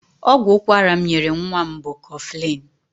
Ọgwụ ụkwara m nyere nwa m bụ koflịn.